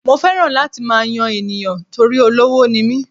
Mo fẹ́ràn láti máa yan ènìyàn torí olówó ni mí.